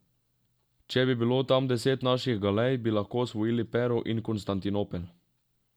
Če bi bilo tam deset naših galej, bi lahko osvojili Pero in Konstantinopel.